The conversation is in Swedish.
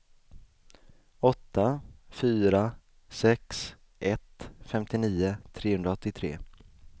åtta fyra sex ett femtionio trehundraåttiotre